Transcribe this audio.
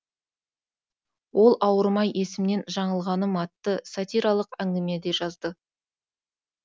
ол ауырмай есімнен жаңылғаным атты сатиралық әңгіме де жазды